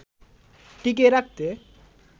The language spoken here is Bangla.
টিকিয়ে রাখতে